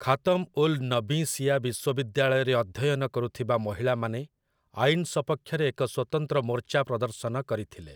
ଖାତମ୍ ଉଲ୍ ନବୀଁ ଶିଆ ବିଶ୍ୱବିଦ୍ୟାଳୟରେ ଅଧ୍ୟୟନ କରୁଥିବା ମହିଳାମାନେ ଆଇନ ସପକ୍ଷରେ ଏକ ସ୍ୱତନ୍ତ୍ର ମୋର୍ଚ୍ଚା ପ୍ରଦର୍ଶନ କରିଥିଲେ ।